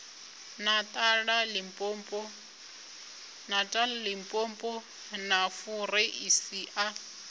natala limpopo na fureisi a